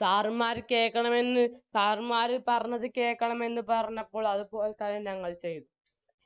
sir മ്മാര് കേക്കണമെന്ന് sir മ്മാര് പറഞ്ഞത് കേൾക്കണമെന്ന് പറഞ്ഞപ്പോൾ അത്പോലെതന്നെ ഞങ്ങൾ ചെയ്തു